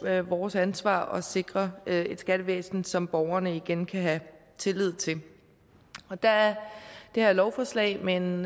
er vores ansvar at sikre et skattevæsen som borgerne igen kan have tillid til og der er det her lovforslag med en